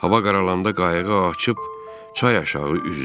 Hava qaralanda qayığı açıb çay aşağı üzdüm.